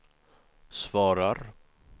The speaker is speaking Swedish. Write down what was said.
svarar